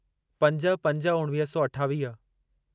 पंज पंज उणिवीह सौ अठावीह